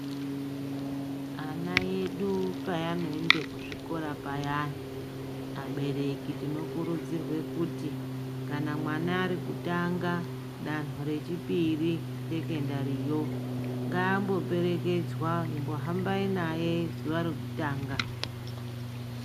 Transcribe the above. Ana edu paano ende ku zvikora payani abereki tino kurudzirwe kuti kana mwana ari kutanga danho re chipiri re sekendariyo ngaambo perekedzwa imbo hambai naye zuva rekutanga.